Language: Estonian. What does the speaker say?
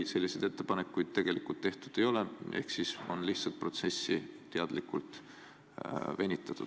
Või selliseid ettepanekuid tegelikult tehtud ei ole ehk siis on lihtsalt protsessi teadlikult venitatud?